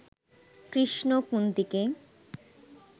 Krishna কুন্তীকে